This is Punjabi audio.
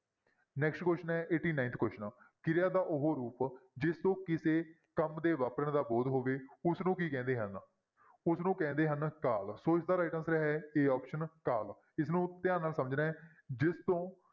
Next question ਹੈ eighty-ninth question ਕਿਰਿਆ ਦਾ ਉਹ ਰੂਪ ਜਿਸ ਤੋਂ ਕਿਸੇ ਕੰਮ ਦੇ ਵਾਪਰਨ ਦਾ ਬੋਧ ਹੋਵੇ ਉਸਨੂੰ ਕੀ ਕਹਿੰਦੇ ਹਨ ਉਸਨੂੰ ਕਹਿੰਦੇ ਹਨ ਕਾਲ ਸੋ ਇਸਦਾ right answer ਹੈ a option ਕਾਲ ਇਸਨੂੰ ਧਿਆਨ ਨਾਲ ਸਮਝਣਾ ਹੈ ਜਿਸ ਤੋਂ